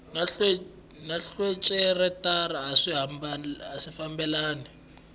na rhejisitara a swi fambelani